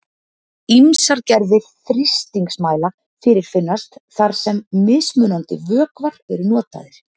Ýmsar gerðir þrýstingsmæla fyrirfinnast þar sem mismunandi vökvar eru notaðir.